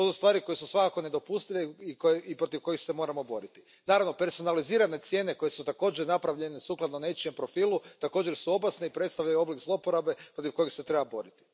To su stvari koje su svakako nedopustive i protiv kojih se moramo boriti. Naravno, personalizirane cijene koje su također napravljene sukladno nečijem profilu također su opasne i predstavljaju oblik zloporabe protiv kojeg se treba boriti.